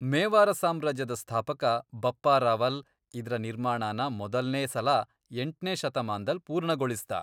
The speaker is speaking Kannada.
ಮೇವಾರ ಸಾಮ್ರಾಜ್ಯದ ಸ್ಥಾಪಕ ಬಪ್ಪಾ ರಾವಲ್ ಇದ್ರ ನಿರ್ಮಾಣನ ಮೊದಲ್ನೇ ಸಲ ಎಂಟ್ನೇ ಶತಮಾನ್ದಲ್ ಪೂರ್ಣಗೊಳಿಸ್ದ.